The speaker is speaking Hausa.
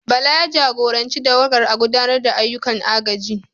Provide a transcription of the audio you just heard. Bala, ya jagoranci tawagar a gudanar da ayyukan agajin.